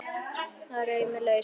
Ég reif mig lausan.